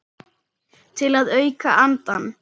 Til að auka andann.